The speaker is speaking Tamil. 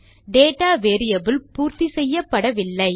டேட்டா வேரியபிள் பூர்த்தி செய்யப்படவில்லை